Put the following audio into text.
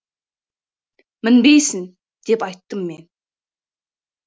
мінбейсің деп айттым мен